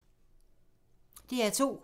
DR2